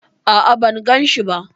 A'a, ban ganshi ba.